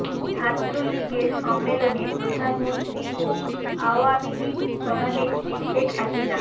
ছাত্রলীগের সম্মেলনে প্রধানমন্ত্রী ও আওয়ামী লীগ সভানেত্রী শেখ হাসিনা